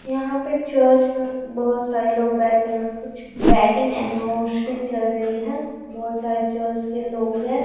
यहाँ पे चर्च में बहुत सारे लोग बैठे हुए हैं कुछ वेडिंग अनिवर्सरी चल रही है बहुत सारे चर्च के लोग हैं ।